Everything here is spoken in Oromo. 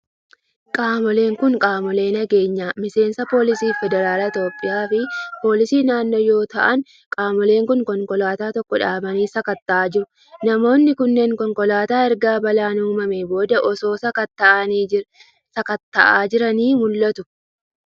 Qaamoleen kun, qaamolee nageenyaa miseensa poolisii federaalaa Itoophiyaa fi poolisii naannoo ta'an yoo ta'u, qaamoleen kun konkolaataa tokko dhaabanii sakatta'aa jiru. Namoonni kunneen konkolaataa erga balaan uumamee booda osoo sakatta'anii jiranii mul'atu.